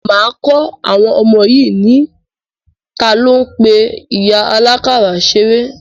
Máa kọ́ àwọn ọmọ yìí ní, talo ń pe ìyá àlákàrà ṣeré?